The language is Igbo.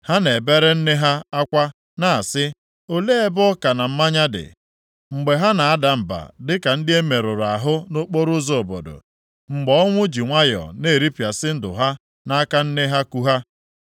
Ha na-ebere nne ha akwa na-asị, “Olee ebe ọka na mmanya dị?” + 2:12 Achịcha na ihe ọṅụṅụ dị Mgbe ha na-ada mba dịka ndị e merụrụ ahụ nʼokporoụzọ obodo, mgbe ọnwụ ji nwayọọ na-eripịasị ndụ ha nʼaka nne ha ku ha.